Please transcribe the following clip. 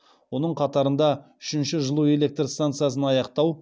оның қатарында үшінші жылу электр стансасын аяқтау